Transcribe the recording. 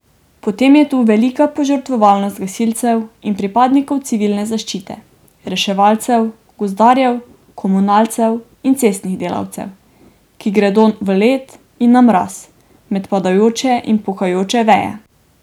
Potem je tu velika požrtvovalnost gasilcev in pripadnikov civilne zaščite, reševalcev, gozdarjev, komunalcev in cestnih delavcev, ki gredo v led in na mraz, med padajoče in pokajoče veje.